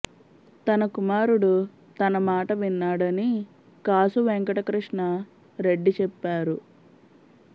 తన కుమారుడు తన మాట విన్నాడని కాసు వెంకటకృష్ణా రెడ్డి చెప్పారు